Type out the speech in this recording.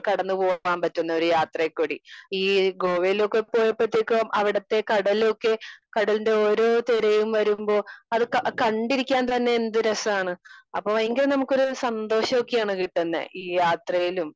Speaker 2 കടന്ന് പോവാൻ പറ്റുന്ന ഒരു യത്രേകൂടി. ഈ ഏഹ് ഗോവയിലൊക്കെ പോയപ്പത്തേക്കും അവിടത്തെ കടലൊക്കെ കടലിന്റെ ഒരൊ തിരയും വരുമ്പോ അതൊക്കെ ആ കണ്ടിരിക്കാൻ തന്നെ എന്ത് രസാണ്. അപ്പൊ ഭയങ്കര നമുക്കൊരു സന്തോഷൊക്കെ ആണ് ഈ കിട്ടുന്നെ ഈ യാത്രയിലും